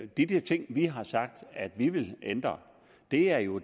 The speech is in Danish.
de ting vi har sagt at vi vil ændre er jo